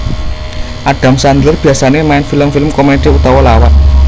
Adam Sandler biasané main film film komedi utawa lawak